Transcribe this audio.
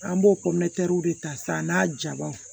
An b'o de ta sa n'a jabaw